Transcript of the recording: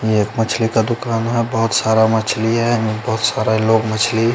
ये एक मछली का दुकान है बहोत सारा मछली है बहोत सारा लोग मछली--